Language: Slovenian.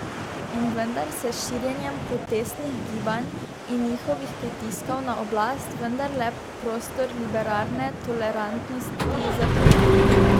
In vendar se s širjenjem protestnih gibanj in njihovih pritiskov na oblast vendarle prostor liberalne tolerantnosti zapira.